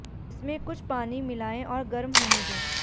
इसमें कुछ पानी मिलाएं और गर्म होने दें